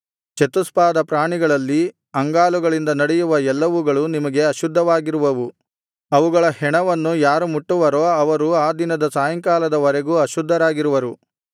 ಚತುಷ್ಪಾದ ಪ್ರಾಣಿಗಳಲ್ಲಿ ಅಂಗಾಲುಗಳಿಂದ ನಡೆಯುವ ಎಲ್ಲವುಗಳು ನಿಮಗೆ ಅಶುದ್ಧವಾಗಿರುವವು ಅವುಗಳ ಹೆಣವನ್ನು ಯಾರು ಮುಟ್ಟುವರೋ ಅವರು ಆ ದಿನದ ಸಾಯಂಕಾಲದ ವರೆಗೂ ಅಶುದ್ಧರಾಗಿರುವರು